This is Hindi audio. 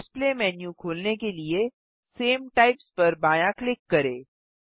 डिस्प्ले मेन्यू खोलने के लिए सामे टाइप्स पर बायाँ क्लिक करें